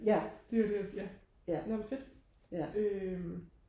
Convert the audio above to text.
det er go det nå men fedt øhm